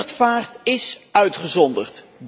Luchtvaart is uitgezonderd.